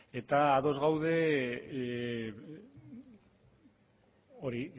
eta ados gaude hori